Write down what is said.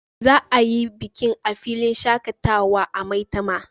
Za a yi bikin a filin shakatawa a maitama